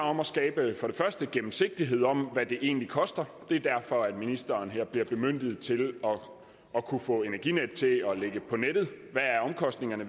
om at skabe gennemsigtighed om hvad det egentlig koster det er derfor ministeren her bliver bemyndiget til at kunne få energinetdk til at lægge på nettet hvad omkostningerne